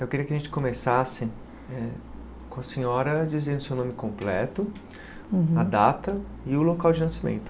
Eu queria que a gente começasse com a senhora dizendo o seu nome completo, a data e o local de nascimento.